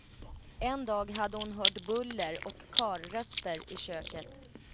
En dag hade hon hört buller och karlröster i köket.